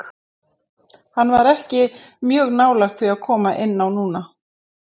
Hann var ekki mjög nálægt því að koma inn á núna.